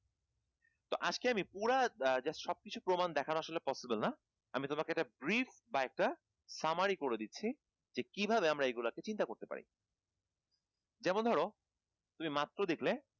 তো আজকে আমি পুরা just সব কিছু প্রমাণ দেখানো আসলে possible না আমি তোমাকে একটা brief বা একটা summery করে দিচ্ছি যে কিভাবে এগুলা কে আমরা চিন্তা করতে পারি যেমন ধরো তুমি মাত্র দেখলে